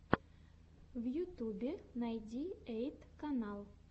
в ютубе найди эйт канал